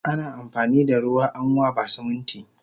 Ana amfanida ruwa amwaba Siminti